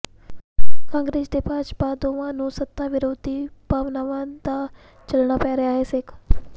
ਕਾਂਗਰਸ ਤੇ ਭਾਜਪਾ ਦੋਵਾਂ ਨੂੰ ਸੱਤਾ ਵਿਰੋਧੀ ਭਾਵਨਾਵਾਂ ਦਾ ਝੱਲਣਾ ਪੈ ਰਿਹਾ ਹੈ ਸੇਕ